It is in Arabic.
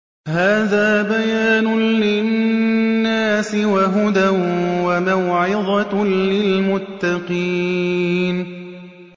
هَٰذَا بَيَانٌ لِّلنَّاسِ وَهُدًى وَمَوْعِظَةٌ لِّلْمُتَّقِينَ